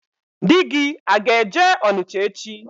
Di gi aga-eje Ọnịcha echi?